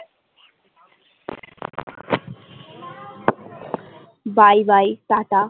bye bye tata